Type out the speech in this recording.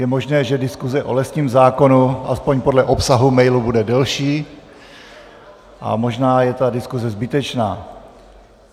Je možné, že diskuse o lesním zákonu, aspoň podle obsahu mailu, bude delší, a možná je ta diskuse zbytečná.